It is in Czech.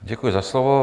Děkuji za slovo.